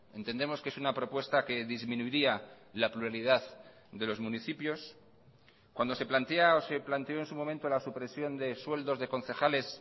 entendemos que es una propuesta que disminuiría la pluralidad de los municipios cuando se plantea o se planteó en su momento la supresión de sueldos de concejales